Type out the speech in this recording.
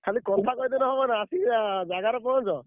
ଖାଲି କଥା କହିଦେଲେ ହବନା ଆସି ~ଆ ଜାଗାରେ ପହଁଞ୍ଚ।